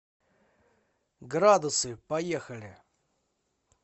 градусы поехали